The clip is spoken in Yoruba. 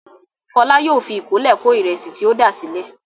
Fọlá yóò fi ìkọ́lé kó ìrẹsì tí o dà sílẹ̀.